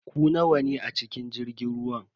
Ku nawa ne a cikin jirgin ruwan?